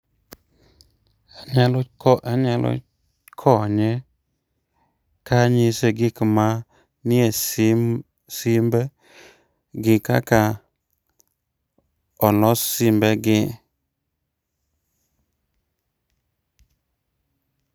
Anyalo ko anyalo um konye kanyise gik manie sim simbe gi kaka olos simbegi.